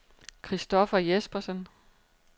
Christopher Jespersen